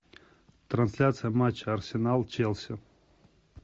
трансляция матча арсенал челси